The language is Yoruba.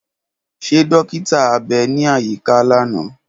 Ṣe dọkita abẹ ni ayika lana?